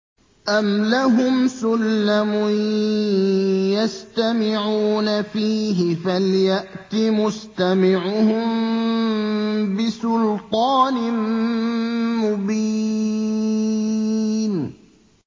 أَمْ لَهُمْ سُلَّمٌ يَسْتَمِعُونَ فِيهِ ۖ فَلْيَأْتِ مُسْتَمِعُهُم بِسُلْطَانٍ مُّبِينٍ